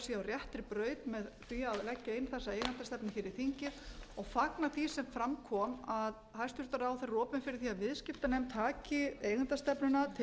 réttri braut með því að leggja inn þessa eigendastefnu fyrir þingið og fagna því sem fram kom að hæstvirtur ráðherra er opinn fyrir því að viðskiptanefnd taki eigendastefnuna til